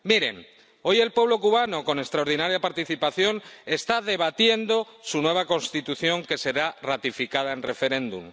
Miren, hoy el pueblo cubano, con extraordinaria participación, está debatiendo su nueva Constitución, que será ratificada en referéndum.